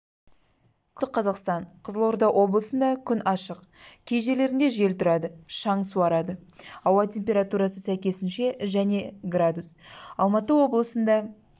күндіз жамбыл оңтүстік қазақстан қызылорда облысында күн ашық кей жерлерінде жел тұрады шаң суырады ауа температурасы сәйкесінше және градус алматы облысында